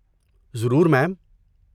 ضرور، میم۔